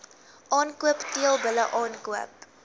aankoop teelbulle aankoop